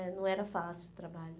né não era fácil o trabalho.